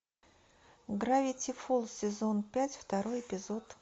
гравити фолз сезон пять второй эпизод